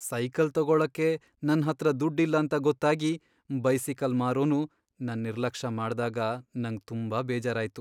Cycle ತಗೋಳಕ್ಕೆ ನನ್ ಹತ್ರ ದುಡ್ ಇಲ್ಲ ಅಂತ ಗೊತ್ತಾಗಿ ಬೈಸಿಕಲ್ ಮಾರೋನು ನನ್ ನಿರ್ಲಕ್ಷ ಮಾಡ್ದಾಗ ನಂಗ್ ತುಂಬಾ ಬೇಜಾರಾಯ್ತು.